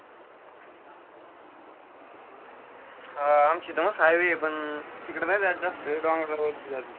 हा, आमच्या इथं मस्त highway आहे. पण, तिकडे नाही जात जास्त, डोंगरावरती जातो.